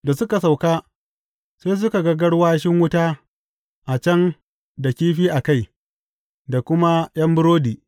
Da suka sauka, sai suka ga garwashin wuta a can da kifi a kai, da kuma ’yan burodi.